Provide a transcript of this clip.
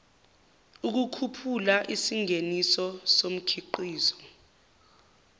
ukukhuphula isingeniso somkhiqizo